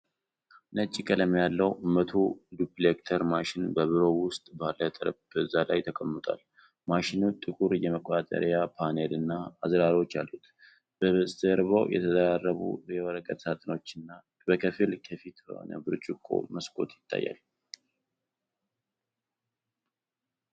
ነጭ ቀለም ያለው 100 ዱፕሊኬተር ማሽን በቢሮ ውስጥ ባለ ጠረጴዛ ላይ ተቀምጧል። ማሽኑ ጥቁር የመቆጣጠሪያ ፓነልና አዝራሮች አሉት። በስተጀርባ የተደራረቡ የወረቀት ሳጥኖችና በከፊል ክፍት የሆነ ብርጭቆ መስኮት ይታያል።